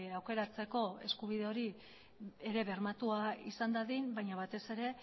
aukeratzeko eskubide hori ere bermatua izan dadin baina batez ere